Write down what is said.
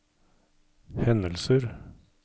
hendelser